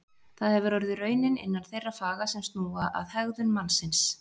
Það hefur orðið raunin innan þeirra faga sem snúa að hegðun mannsins.